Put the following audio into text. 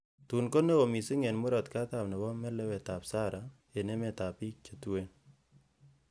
Tun konewo missing en Murot katam nebo melewetab Sahara en emetab bik che tuen.